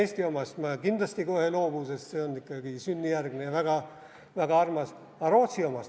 Eesti omast ma kindlasti kohe ei loobu, sest see on ikkagi sünnijärgne ja väga armas, aga Rootsi omast?